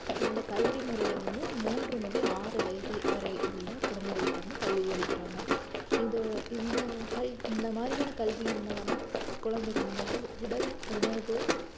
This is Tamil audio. இந்த கல்வி முறையில வந்து மூன்று முதல் ஆறு வயது வரை உள்ள குழந்தைகளுக்கு வந்து கல்வி அளிக்கிறாங்க இந்த இந்த கல்~ இந்த மாதிரியான கல்வியின் மூலமா குழந்தைகளினுள்ள உடல் உணர்வு